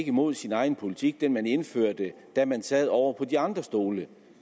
imod sin egen politik altså den man indførte da man sad ovre på de andre stole